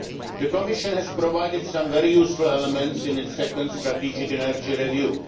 year. The Commission has provided some very useful elements in its Second Strategic Energy